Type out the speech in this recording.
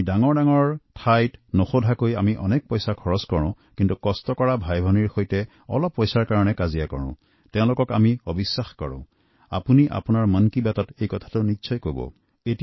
আমি ডাঙৰ ডাঙৰ দোকানত বিনা বাক্যে বহু টকা খৰচ কৰোঁ কিন্তু আমাৰ শ্ৰমজীৱি ভাইভনীসকলৰ সৈতে সামান্য কেইটামান টকাৰ বাবে বাকবিতন্তা কৰো তেওঁলোকক অবিশ্বাস কৰোঁ আপুনি মন কী বাত অনুষ্ঠানত এই বিষয়ে নিশ্চয় আলোচনা কৰিব